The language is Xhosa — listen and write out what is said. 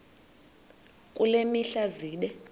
kule mihla zibe